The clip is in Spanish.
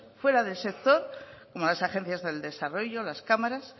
fuera del sector como las agencias del desarrollo las cámaras